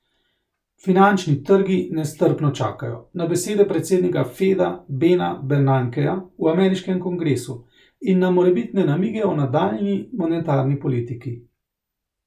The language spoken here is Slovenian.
Finančni trgi nestrpno čakajo na besede predsednika Feda Bena Bernankeja v ameriškem kongresu in na morebitne namige o nadaljnji monetarni politiki.